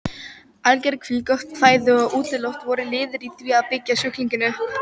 Alger hvíld, gott fæði og útiloft voru liðir í því að byggja sjúklinginn upp.